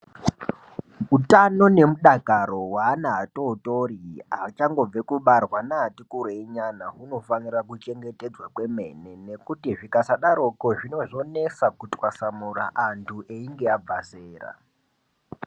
Uthano nemudakaro weana atootori achangobve kubarwa neati kureinyana hunofanire kuchengetedzwa kwemene nekuti zvikasaadaroko zvinozonesa kutwasamura anthu einge abva zero.